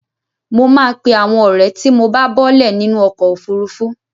Mo máa pe àwọn ọ̀rẹ́ tí mo bá bọ́ọ́lẹ̀ nínú ọkọ̀ òfurufú.